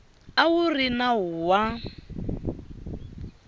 a wu ri nawu wa